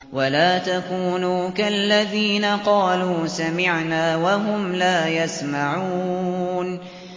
وَلَا تَكُونُوا كَالَّذِينَ قَالُوا سَمِعْنَا وَهُمْ لَا يَسْمَعُونَ